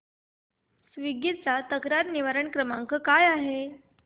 Swiggy चा तक्रार निवारण क्रमांक काय आहे